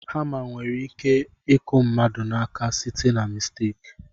Hama nwere iku aka ndị mmadụ site na misteki.